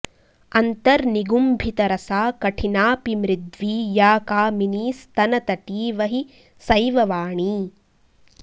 अन्तर्निगुम्भितरसा कठिनापि मृद्वी या कामिनीस्तनतटीव हि सैव वाणी